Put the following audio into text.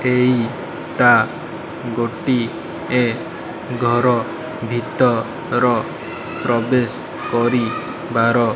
ଏଇଟା ଗୋଟିଏ ଘର ଭିତର ପ୍ରବେଶ କରି ବାର --